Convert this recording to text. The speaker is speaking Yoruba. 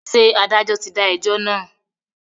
Ṣé adájọ́ ti dá ẹjọ́ náà?